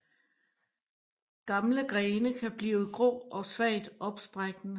Gamle grene kan blive grå og svagt opsprækkende